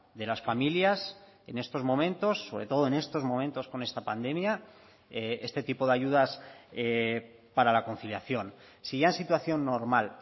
de las familias en estos momentos sobre todo en estos momentos con esta pandemia este tipo de ayudas para la conciliación si ya en situación normal